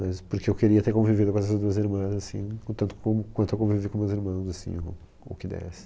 Mas porque eu queria ter convivido com essas duas irmãs, assim, o tanto como, quanto eu convivi com meus irmãos, assim, o o que desse.